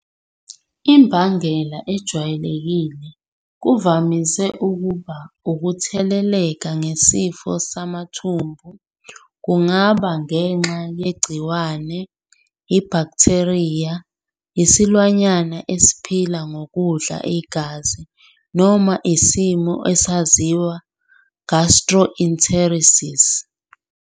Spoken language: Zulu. Imbangela ejwayelekile kuvamise ukuba ukutheleleka ngesifo samathumbu kungaba ngenxa yegciwane, ibhaktheriya, isilwanyana esiphila ngokudla igazi, noma isimo esaziwa gastroenteritis.